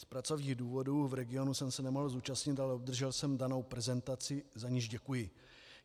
Z pracovních důvodů v regionu jsem se nemohl zúčastnit, ale obdržel jsem danou prezentaci, za niž děkuji.